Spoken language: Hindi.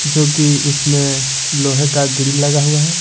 जो कि उसमें लोहे का ग्रिल लगा हुआ है।